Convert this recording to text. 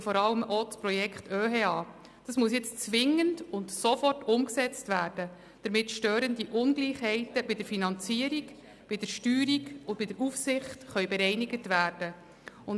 Gerade das Projekt OeHE muss jetzt zwingend und rasch umgesetzt werden, damit störende Ungleichheiten bei der Finanzierung, der Steuerung und der Aufsicht bereinigt werden können.